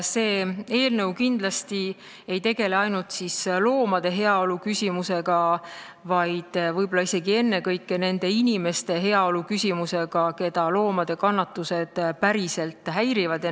See eelnõu kindlasti ei tegele ainult loomade heaolu küsimustega, vaid võib-olla isegi ennekõike nende inimeste heaolu küsimustega, keda loomade kannatused häirivad.